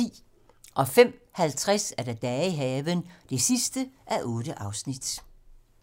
05:50: Dage i haven (8:8)